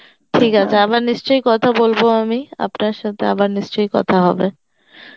ঠিক আছে আবার নিশ্চই কথা বলব আমি আপনার সথে, আপনার সথে আবার নিশ্চই কথা হবে